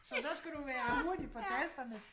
Så der skal du være hurtig på tasterne